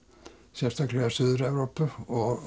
sérstaklega Suður Evrópu og